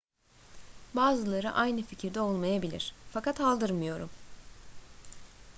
bazıları aynı fikirde olmayabilir fakat aldırmıyorum